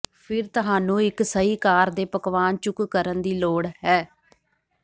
ਫਿਰ ਤੁਹਾਨੂੰ ਇੱਕ ਸਹੀ ਆਕਾਰ ਦੇ ਪਕਵਾਨ ਚੁੱਕ ਕਰਨ ਦੀ ਲੋੜ ਹੈ